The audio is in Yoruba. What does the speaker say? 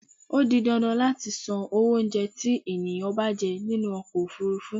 Ó di dandan láti san owó oúnjẹ tí ènìyàn bá jẹ nínú ọkọ ofúrúfú.